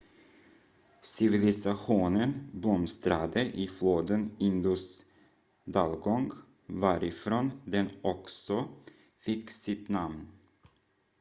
civilisationen blomstrade i floden indus dalgång varifrån den också fick sitt namn